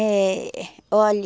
É... Olha...